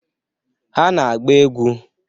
Ha na-agba egwu.